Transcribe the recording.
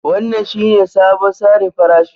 Wannan shine sabon tsarin farashi